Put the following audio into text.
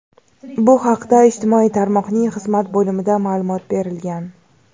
Bu haqda ijtimoiy tarmoqning xizmat bo‘limida ma’lumot berilgan.